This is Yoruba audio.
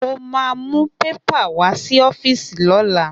Mo ma mú pépà wá sí ọ́fíìsì lọ́la